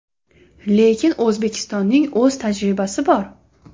Lekin O‘zbekistonning o‘z tajribasi bor.